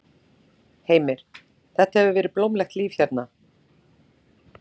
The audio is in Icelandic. Heimir: Þetta hefur verið blómlegt líf hérna?